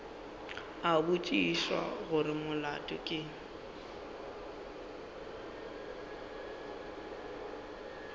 a botšiša gore molato ke